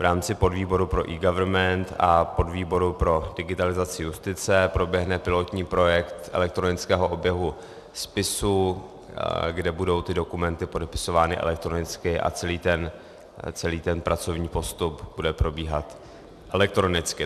V rámci podvýboru pro eGovernment a podvýboru pro digitalizaci justice proběhne pilotní projekt elektronického oběhu spisu, kde budou ty dokumenty podepisovány elektronicky, a celý ten pracovní postup bude probíhat elektronicky.